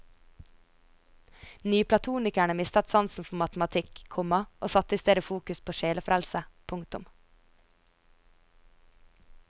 Nyplatonikerne mistet sansen for matematikk, komma og satte istedet fokus på sjelefrelse. punktum